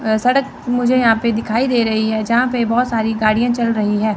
अ सड़क मुझे यहां पे दिखाई दे रही है जहां पे बहोत सारी गाड़ियां चल रही है।